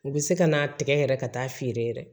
U bɛ se ka n'a tigɛ yɛrɛ ka taa feere yɛrɛ